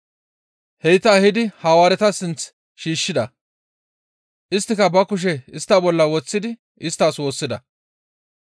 Heyta ehidi Hawaareta sinth shiishshida. Isttika ba kushe istta bolla woththidi isttas woossida.